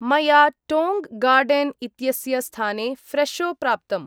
मया Tong Garden इत्यस्य स्थाने फ्रेशो प्राप्तम्।